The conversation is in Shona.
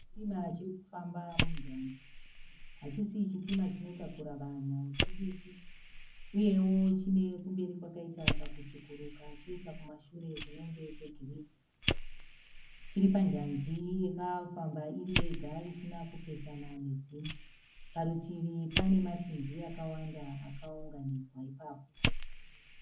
Chitima chiri kufamba munjanji. Hachisi chitima chinotakura vanhu chidiki, uyewo chine kumberi kwakaita kakutsvukuruka choita kumashure kunenge kwegirini. Chiri panjanji yakafamba iri yega isina kupesana nedzimwe. Parutivi pane masimbi akawanda akaunganidzwa ipapo.